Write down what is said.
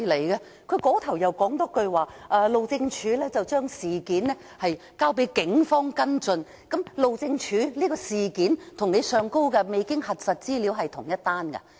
另一方面又說路政署已將事件交給警方跟進，路政署報案的事件與上面提及未經核實資料的是同一事件嗎？